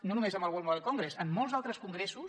no només amb el mobile world congress en molts altres congressos